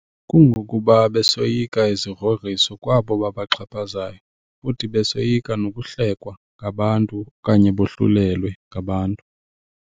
Kungokuba besoyika izigrogriso kwabo babaxhaphazayo futhi besoyika nokuhlelwa ngabantu okanye bohlulelwe ngabantu.